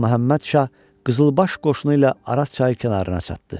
Ağa Məhəmməd Şah qızılbaş qoşunu ilə Araz çayı kənarına çatdı.